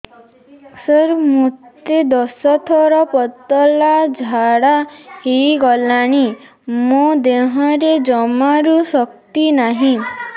ସାର ମୋତେ ଦଶ ଥର ପତଳା ଝାଡା ହେଇଗଲାଣି ମୋ ଦେହରେ ଜମାରୁ ଶକ୍ତି ନାହିଁ